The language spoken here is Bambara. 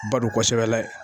B'a dɔn kosɛbɛ lɛ